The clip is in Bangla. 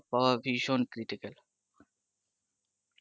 পাওয়া ভীষণ critical